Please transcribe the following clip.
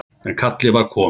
En kallið var komið.